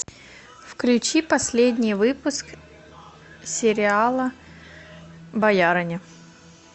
включи последний выпуск сериала боярыня